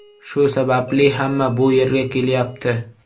Shu sababli hamma bu yerga kelyapti.